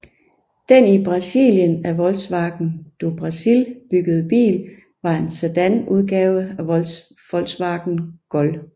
Den i Brasilien af Volkswagen do Brasil byggede bil var en sedanudgave af Volkswagen Gol